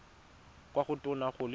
kwa go tona go le